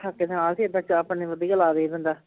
ਠੱਕੇ ਨਾਲ ਸੀ ਏਦਾਂ ਚਾਹ ਪਾਣੀ ਵਧੀਆ ਲਾਵੇ ਬੰਦਾ